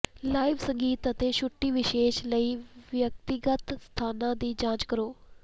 live ਸੰਗੀਤ ਅਤੇ ਛੁੱਟੀ ਵਿਸ਼ੇਸ਼ ਲਈ ਵਿਅਕਤੀਗਤ ਸਥਾਨਾਂ ਦੀ ਜਾਂਚ ਕਰੋ